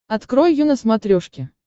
открой ю на смотрешке